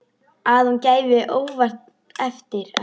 Að hún gefi óvænt eftir.